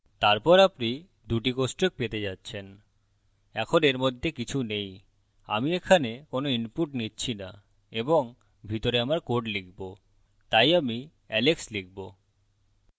তারপর আপনি দুটি কোষ্টক পেতে যাচ্ছেন এখন এর মধ্যে কিছু নেই আমি এখানে কোনো input নিচ্ছি না এবং ভিতরে আমার code লিখবো তাই আমি alex লিখবো